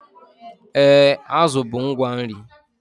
Ee, azụ bụ ngwa nri